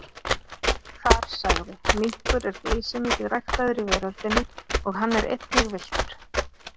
Þar sagði: Minkur er geysimikið ræktaður í veröldinni og hann er einnig villtur.